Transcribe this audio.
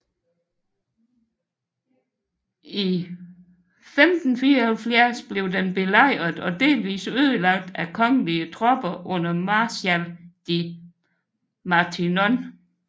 I 1574 blev den belejret og delvis ødelagt af kongelige tropper under marskal de Matignon